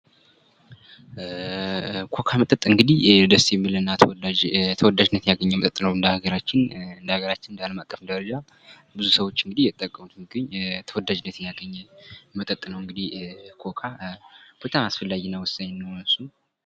ኮካ መጠጥ እንግዲህ ደስ የሚልና ተወዳጅነት ያገኘ መጠጥ ነው እንደ ሀገራችን እንደ አለም አቀፍ ደረጃ ብዙ ሰዎች እንግዲህ እየተጠቀሙት የሚገኝ ተወዳጅነትን ያገኘ መጠጥ ነው እንዲህ ኮካ በጣም አስፈላጊና ወሳኝ ነው እሱም